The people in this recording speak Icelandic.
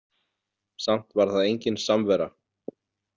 Samt var það engin samvera.